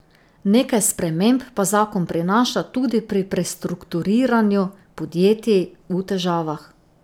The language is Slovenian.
Nekaj sprememb pa zakon prinaša tudi pri prestrukturiranju podjetij v težavah.